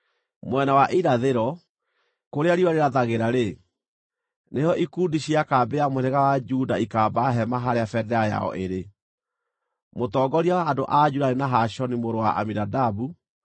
Mwena wa irathĩro, kũrĩa riũa rĩrathagĩra-rĩ, nĩho ikundi cia kambĩ ya mũhĩrĩga wa Juda ikaamba hema harĩa bendera yao ĩrĩ. Mũtongoria wa andũ a Juda nĩ Nahashoni mũrũ wa Aminadabu.